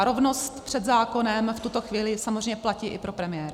A rovnost před zákonem v tuto chvíli samozřejmě platí i pro premiéra.